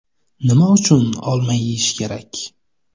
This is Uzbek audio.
Nima uchun olma yeyish kerak?.